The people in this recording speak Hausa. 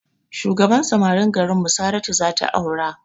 Shugaban samarin garinmu saratu zata aura